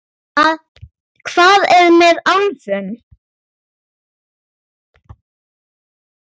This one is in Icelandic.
Hvað er með álfum?